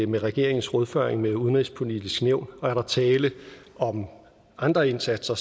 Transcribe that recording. med regeringens rådføring med udenrigspolitisk nævn og er der tale om andre indsatser